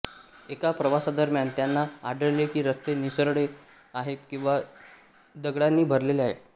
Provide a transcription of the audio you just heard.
एका प्रवासादरम्यान त्यांना आढळले की रस्ते निसरडे आहेत किंवा दगडांनी भरलेले आहेत